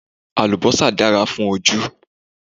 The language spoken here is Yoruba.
Àlùbọ́sà dára fún ojú